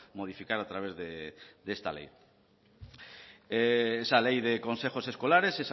modificar a través de esta ley esa ley de consejos escolares